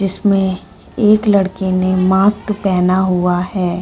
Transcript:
जिसमें एक लड़के ने मास्क पहना हुआ है।